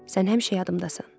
Sən həmişə yadımdasan.